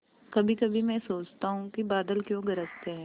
कभीकभी मैं सोचता हूँ कि बादल क्यों गरजते हैं